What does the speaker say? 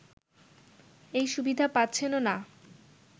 এই সুবিধা পাচ্ছেনও না